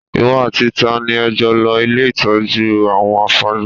Ìwọ àti ta ni ẹ jọ lọ ilé ìtọ́jú àwọn afọ́jú?